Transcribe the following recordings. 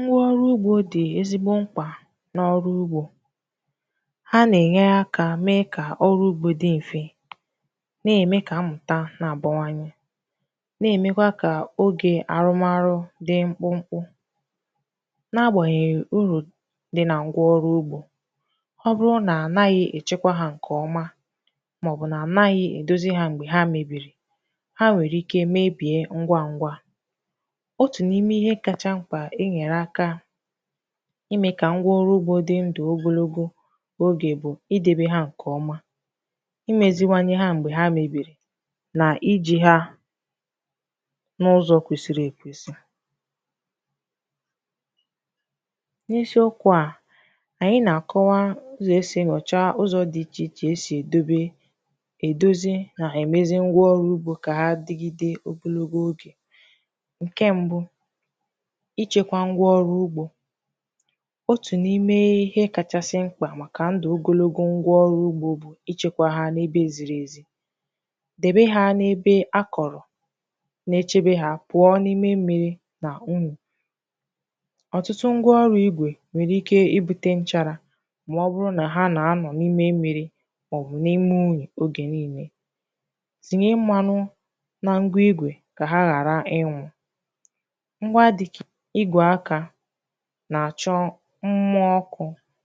Ngwa ọrụ ugbo dị ezigbo mkpa n’ọrụ ugbo. A na-enye aka mee ka ọrụ ugbo dị mfe, na-eme ka amụma na-abawanye, na-emekwa ka oge arụmarụ dị mkpụmkpụ. Agbanyeghị uru dị na ngwa ọrụ ugbo apụtaghị ma ọ bụrụ na a naghị echekwa ha nke ọma, maọbụ na a naghị edozi ha mgbe ha mebiri, ha nwere ike imebi ngwa ngwa. Ihe kacha mkpa e nyere aka ime ka ngwa ọrụ ugbo dị ndụ ogologo oge bụ: Idebe ha nke ọma, Imeziwanye ha mgbe ha mebiri, Iji ha n’ụzọ kwesiri ekwesi. N’isiokwu a, anyị na-akọwa ụzọ esi enyocha, dozie, na-emezi ngwa ọrụ ugbo ka ha digide oge. Ichekwa ngwa ọrụ ugbo: Otu n’ime ihe kachasị mkpa maka ndụ ogologo ngwa ọrụ ugbo bụ ichekwa ha n’ebe ziri ezi. Debe ha n’ebe a kọrọ, na-echebe ha pụọ n’ime mmiri na unyi. Ọtụtụ ngwa ọrụ igwe nwere ike ibute nchara ma ọ bụrụ na ha na-anọ n’ime mmiri, maọbụ n’ime unyi oge niile. Tinye mmụọ ọkụ na mmanụ n’akụkụ igwe ka ha ghara ịnwụ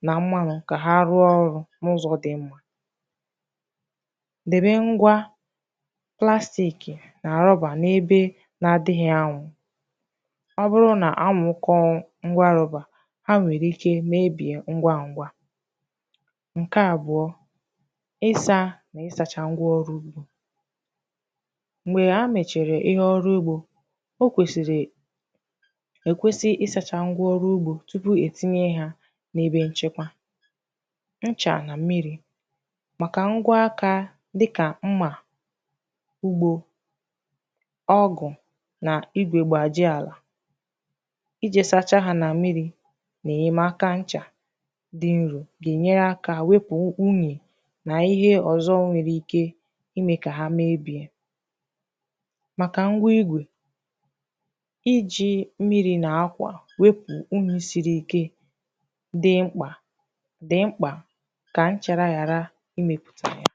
ma rụọ ọrụ n’ụzọ dị mma. Debe ngwa plastik na roba n’ebe na-adịghị anwụ. Ọ bụrụ na anwụ kọọ ngwa roba, ha nwere ike mebie ngwa ngwa. Ịsa ngwa ọrụ ugbo: Mgbe emechara ọrụ ugbo, ekwesị ịsacha ngwa ọrụ ugbo tupu etinye ha n’ebe nchekwa. Nchacha na mmiri dị mkpa maka ngwa aka dịka mma ugbo, ugọ, na igwe gbajie ala. Ịsa ha na mmiri na enyemaka nchacha dị nro ga-enyere aka wepụ unyi na ihe ndị ọzọ nwere ike ime ka ha mebie. Maka ngwa igwe, wepụ unyi siri ike dị mkpa dị mkpa ka nchara ghara imepụta ya.